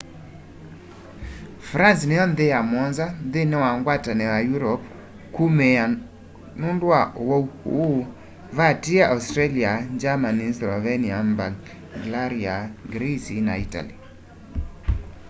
france niyo nthi ya muonza nthini wa ngwatanio ya europe kuumia nundu wa uwau ûû vatiie australia germany slovenia bulgaria greece na itali